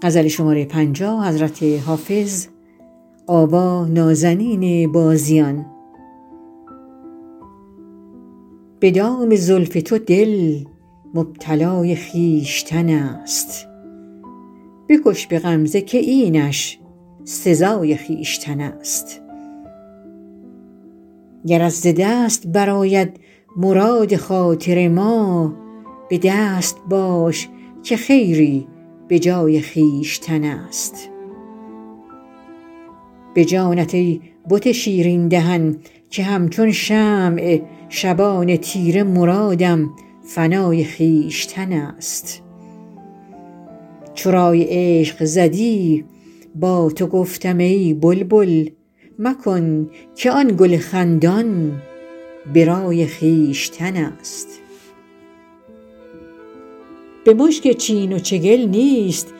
به دام زلف تو دل مبتلای خویشتن است بکش به غمزه که اینش سزای خویشتن است گرت ز دست برآید مراد خاطر ما به دست باش که خیری به جای خویشتن است به جانت ای بت شیرین دهن که همچون شمع شبان تیره مرادم فنای خویشتن است چو رای عشق زدی با تو گفتم ای بلبل مکن که آن گل خندان به رای خویشتن است به مشک چین و چگل نیست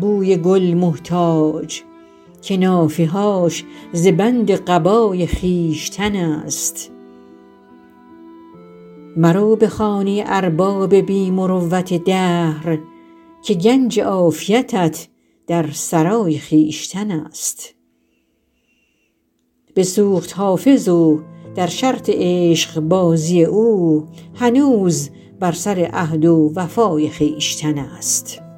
بوی گل محتاج که نافه هاش ز بند قبای خویشتن است مرو به خانه ارباب بی مروت دهر که گنج عافیتت در سرای خویشتن است بسوخت حافظ و در شرط عشقبازی او هنوز بر سر عهد و وفای خویشتن است